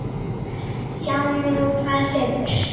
Sjáum nú hvað setur.